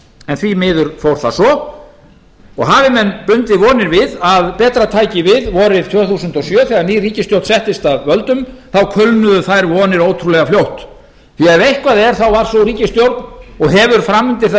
en því miður fór það svo og hafi menn bundið vonir við að betra tæki við vorið tvö þúsund og sjö þegar ný ríkisstjórn settist að völdum þá kulnuðu þær vonir ótrúlega fljótt því ef eitthvað er þá var sú ríkisstjórn og hefur framundir það